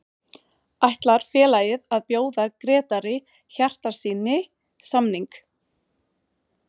Ætlar félagið að bjóða Grétari Hjartarsyni samning?